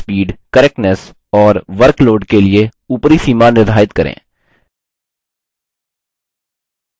typing speed correctness और workload के लिए upper सीमा निर्धारित करें